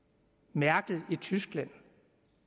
merkel i tyskland